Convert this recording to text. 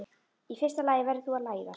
Í fyrsta lagi verður þú að læðast.